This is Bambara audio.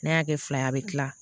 N'a y'a kɛ fila ye a bɛ kila